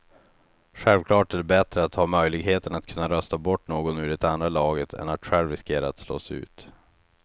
Självklart är det bättre att ha möjligheten att kunna rösta bort någon ur det andra laget än att själv riskera att slås ut.